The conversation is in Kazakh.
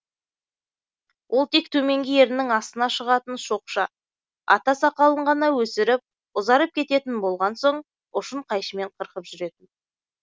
ол тек төменгі ернінің астына шығатын шоқша ата сақалын ғана өсіріп ұзарып кететін болған соң ұшын қайшымен қырқып жүретін